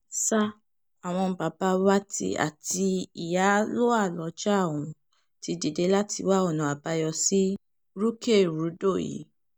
sa àwọn baba wá ti àti iyálóà ọjà ọ̀hún ti dìde láti wá ọ̀nà àbáyọ sí rúkèrúdò yìí